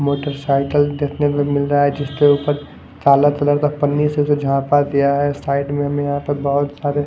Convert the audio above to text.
motorcycle कितने में मिल रहा है जिसके ऊपर काला कलर का पन्नी से जो जापा दिया हैं साइड में हमे यहां पर बहुत सारे--